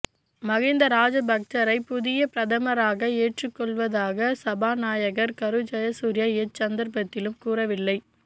மகிந்த ராஜபக்ஸவை புதிய பிரதமராக ஏற்றுக் கொள்வதாக சபாநாயகர் கரு ஜயசூரிய எச் சந்தர்பத்திலும் கூறவில்லை